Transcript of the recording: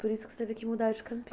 Por isso que você teve que mudar de